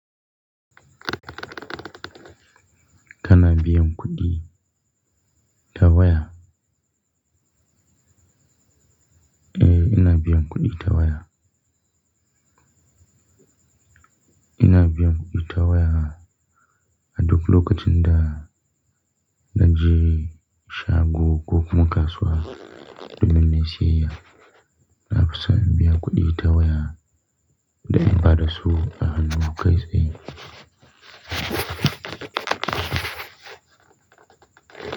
Kana biyan kuɗi ta waya? Eh ina biyan kuɗi ta waya. Ina biyan kuɗi ta waya a duk lokacin da na je shago kuma kasuwa domin nayi siyayya. Na fi son in biya kuɗi ta waya da in ba da su a hannu kai tsaye.